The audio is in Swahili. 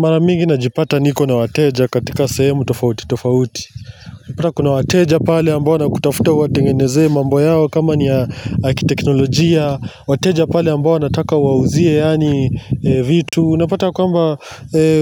Mara migi na jipata niko na wateja katika sehemu tofauti tofauti. Nipata kuna wateja pale ambao na kutafuta uwatengeneze mambo yao kama ni ya akiteknologia. Wateja pale ambao na wataka wauziye yaani vitu. Unapata kwamba,